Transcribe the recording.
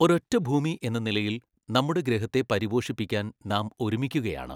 ഒരൊറ്റഭൂമി എന്ന നിലയിൽ, നമ്മുടെ ഗ്രഹത്തെ പരിപോഷിപ്പിക്കാൻ നാം ഒരുമിക്കുകയാണ്.